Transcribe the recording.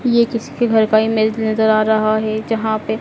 ये किसके घर का इमेज नजर आ रहा है जहां पे--